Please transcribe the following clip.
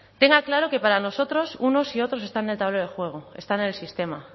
tenga claro que para nosotros unos y otros están en el tablero de juego están en el sistema